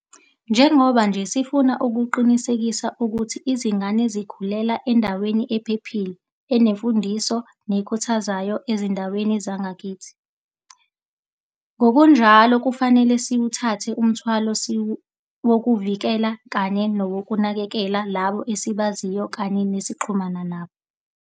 Njengoba nje sifuna ukuqinisekisa ukuthi izingane zikhulela endaweni ephephile, enemfundiso nekhuthazayo ezindaweni zakithi, ngokunjalo kufanele siwuthathe umthwalo wokuvikela kanye nokunakekela labo esibaziyo kanye nesixhumana nabo.